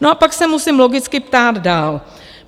No a pak se musím logicky ptát dál.